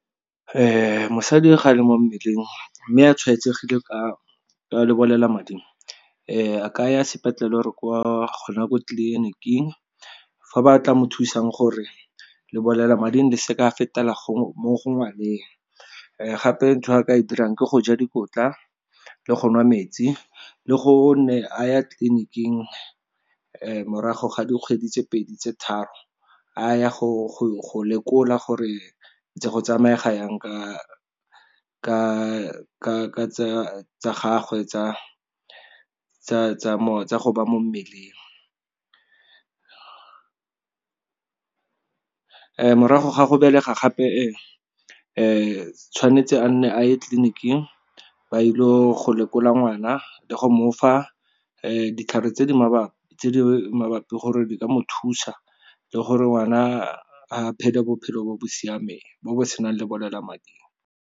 Mosadi ga le mo mmeleng, mme a tshwaetsegile ka lebolelamading a kaya sepetlele or gona ko tleliniking fa ba tla mo thusang gore lebolelamading le se ka fetela mo go ngwaneng. Gape ntho a ka e dirang ke go ja dikotla, le go nwa metsi, le go nne a ya tleliniking morago ga dikgwedi tse pedi tse tharo, a ya go lekola gore ntse go tsamega yang ka tsa gagwe tsa go ba mo mmeleng. Morago ga go belega gape tshwanetse a nne a ye tleliniking ba ile go lekola ngwana le go mofa ditlhare tse di mabapi gore di ka mo thusa, le gore ngwana a phele bophelo bo bo siameng, bo bo senang lebolelamading.